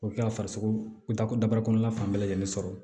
O bɛ kɛ farisogo dako daba kɔnɔna fan bɛɛ lajɛlen sɔrɔ